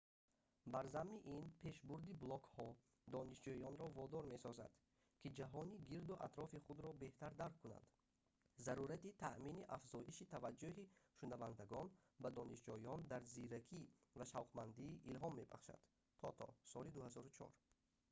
бар замми ин пешбурди блогҳо донишҷӯёнро водор месозад ки ҷаҳони гирду атрофи худро беҳтар дарк кунанд. зарурати таъмини афзоиши таваҷҷуҳи шунавандагон ба донишҷӯён дар зиракӣ ва шавқмандӣ илҳом мебахшад тото соли 2004